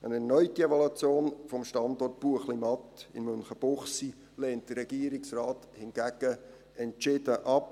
Eine erneute Evaluation des Standorts Buechlimatt in Münchenbuchsee lehnt der Regierungsrat hingegen entschieden ab.